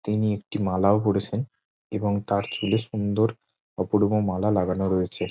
তিনি একটি মালাও পরেছেন এবং তার চুলে সুন্দর অপরূপা মালা লাগানো রয়েছে।